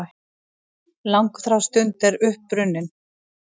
Langþráð stund er runnin upp!